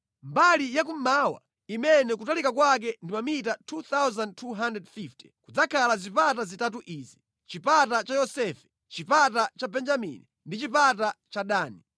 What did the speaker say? “Mbali ya kummawa, imene kutalika kwake ndi mamita 2,250, kudzakhala zipata zitatu izi: chipata cha Yosefe, chipata cha Benjamini ndi chipata cha Dani.